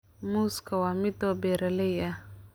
Muuska waa midho beeralay ah.